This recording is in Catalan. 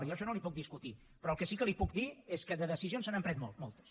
jo això no li ho puc discutir però el que sí que li puc dir és que de decisions se n’han pres moltes